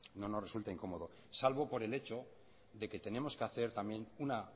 no nos resulta incómodo salvo por el hecho de que tenemos que hacer también una